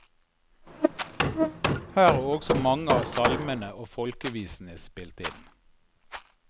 Her er også mange av salmene og folkevisene spilt inn.